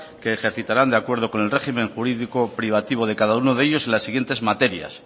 que ejercitaran de acuerdo con el régimen jurídico privativo de cada uno de ellos en la siguientes materias